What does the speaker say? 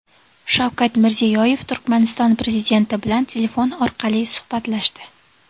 Shavkat Mirziyoyev Turkmaniston Prezidenti bilan telefon orqali suhbatlashdi.